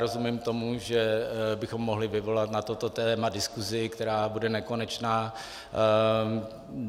Rozumím tomu, že bychom mohli vyvolat na toto téma diskusi, která bude nekonečná.